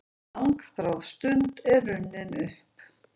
Langþráð stund er runnin upp!